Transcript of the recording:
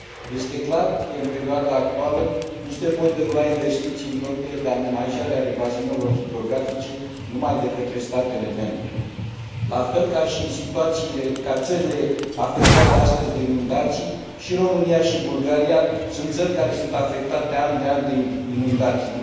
Este clar că, în perioada actuală, nu se pot derula investiții în proiectele de amenajare a bazinelor hidrografice numai de către statele membre. La fel ca țările afectate astăzi de inundații, România și Bulgaria sunt țări afectate an de an de inundații.